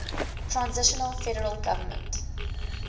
transitional federal government